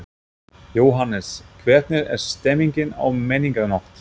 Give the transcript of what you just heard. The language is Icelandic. Jóhannes: Hvernig er stemmningin á Menningarnótt?